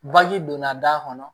donna da kɔnɔ